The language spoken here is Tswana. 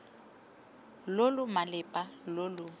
lo lo malepa lo lo